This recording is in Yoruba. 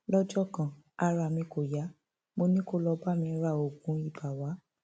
lọjọ kan ara mi kò yá mo ní kó lọọ bá mi ra oògùn ibà wa